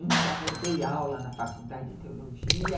Então, eu dei aula na faculdade de teologia.